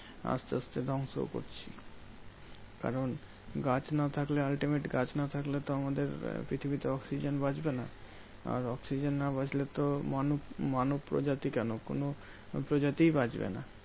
আসতে আসতে ধ্বংস করছি। কারণ গাছ না থাকলে ultimate গাছ না থাকলে তো আমাদের পৃথিবীতে oxygen বাঁচবে না। আর oxygen না বাঁচলে তো মানুষ মানুষ প্রজাতি কেন? কোনো প্রজাতিই বাঁচবে না।